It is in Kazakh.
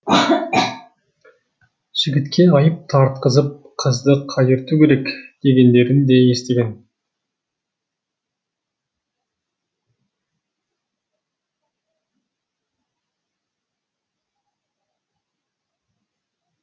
жігітке айып тартқызып қызды қайырту керек дегендерін де естіген